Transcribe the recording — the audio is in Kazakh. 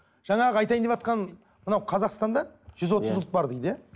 жаңағы айтайын деватқаным мынау қазақстанда жүз отыз ұлт бар дейді иә